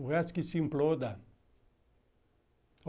O resto que se imploda.